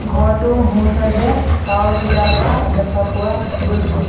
ঘৰটো সোঁ চাইড এ তাঁৰৰ খুঁটা এটা দেখা পোৱা গৈছে।